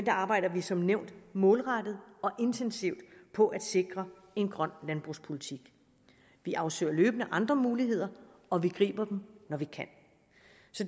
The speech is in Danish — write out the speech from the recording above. arbejder vi som nævnt målrettet og intensivt på at sikre en grøn landbrugspolitik vi afsøger løbende andre muligheder og vi griber dem når vi kan